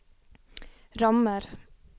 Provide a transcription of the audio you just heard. rammer